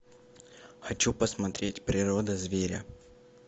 хочу посмотреть природа зверя